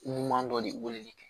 Ɲuman dɔ de weleli kɛ